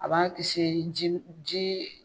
A b'a kisi ji